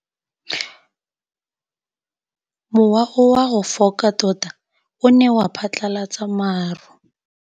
Mowa o wa go foka tota o ne wa phatlalatsa maru.